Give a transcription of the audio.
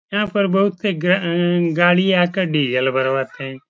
यहाँ पर बोहोत से गअ गाड़ी आकर डीजल भरवाते हैं।